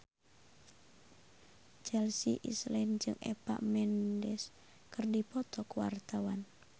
Chelsea Islan jeung Eva Mendes keur dipoto ku wartawan